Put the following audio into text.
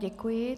Děkuji.